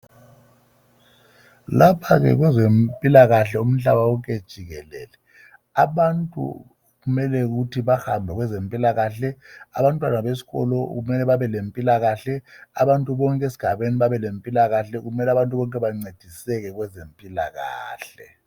Lapha ke kwezempilakahle umhlaba wonke jikelele, abantu kumele ukuthi bahambe kwezempilakahle, abantwana besikolo kumele babe lempilakahle, abantu bonke esigabeni babe lempilakahle, kumele abantu bonke bancediseke kwezempilakahle.